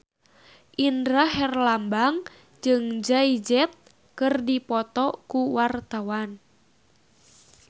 Indra Herlambang jeung Jay Z keur dipoto ku wartawan